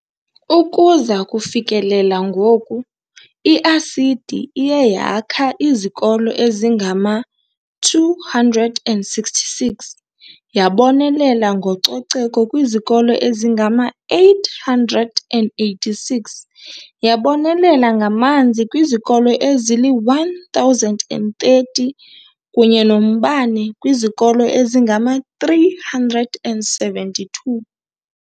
Ukuza kufikelela ngoku, i-ASIDI iye yakha izikolo ezingama-266, yabonelela ngococeko kwizikolo ezingama-886, yabonelela ngamanzi kwizikolo ezili-1 030 kunye nombane kwizikolo ezingama-372.